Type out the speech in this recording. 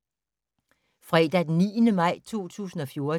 Fredag d. 9. maj 2014